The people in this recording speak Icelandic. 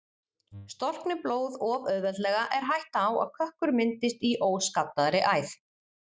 Storkni blóð of auðveldlega er hætta á að kökkur myndist í óskaddaðri æð.